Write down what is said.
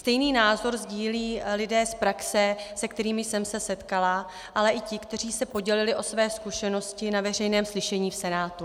Stejný názor sdílí lidé z praxe, se kterými jsem se setkala, ale i ti, kteří se podělili o své zkušenosti na veřejném slyšení v Senátu.